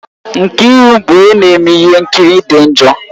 Nkiru bụ onye na-eme ihe nkiri dị njọ